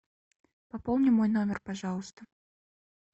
пополни мой номер пожалуйста